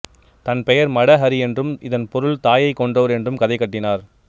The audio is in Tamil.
தன் பெயர் மட ஹரி என்றும் இதன் பொருள் தாயை கொன்றவர் என்றும் கதை கட்டினார்